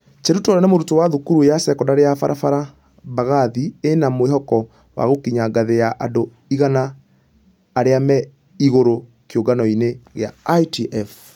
Cheruto ũrĩa nĩ mũrutwo wa thukuru ya sekondari ya barabara mbagathi ĩna mwĩhoko wa gũkinya ngathĩ ya andũ igana arĩa me igũrũ kĩũngano-inĩ gĩa ITF.